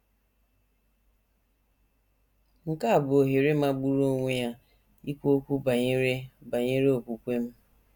Nke a bụ ohere magburu onwe ya ikwu okwu banyere banyere okwukwe m! ’